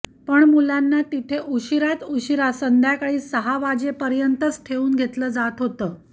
पण मुलांना तिथे उशीरात उशिरा संध्याकाळी सहा वाजेपर्यंतच ठेवून घेतलं जात होतं